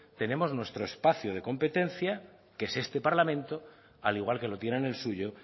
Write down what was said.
tenemos nuestro espacio de competencia que es este parlamento al igual que lo tienen el suyo